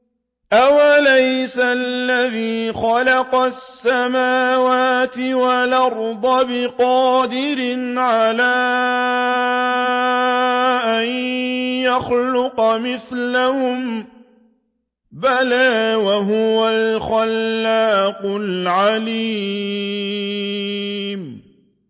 أَوَلَيْسَ الَّذِي خَلَقَ السَّمَاوَاتِ وَالْأَرْضَ بِقَادِرٍ عَلَىٰ أَن يَخْلُقَ مِثْلَهُم ۚ بَلَىٰ وَهُوَ الْخَلَّاقُ الْعَلِيمُ